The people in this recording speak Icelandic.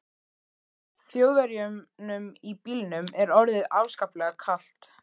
Þjóðverjunum í bílnum er orðið afskaplega kalt.